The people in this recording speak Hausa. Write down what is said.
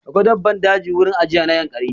Akwai daban daji a wurin ajiye na Yankari.